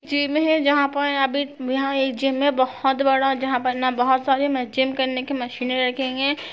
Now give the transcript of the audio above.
Gym है जहाँ पर अभी यहाँ एक जिम है बहुत बड़ा जहा पर न बहुत सारे जिम करने की मशीने रखेंगे।